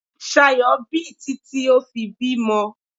Ṣayọ̀ bì títí ó fi bímọ.